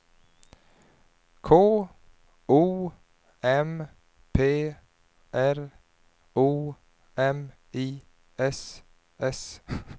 K O M P R O M I S S